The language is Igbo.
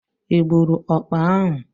Ị gburu ọkpa ahu?